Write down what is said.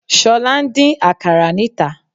Sọ́la n dín àkàrà níta